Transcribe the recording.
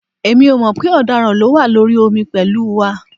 Èmi ò mọ̀ pé ọ̀daràn ló wà lórí omi pẹ̀lú wa